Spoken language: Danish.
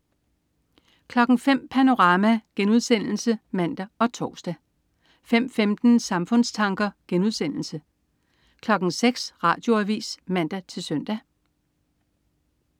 05.00 Panorama* (man og tors) 05.15 Samfundstanker* 06.00 Radioavis (man-søn)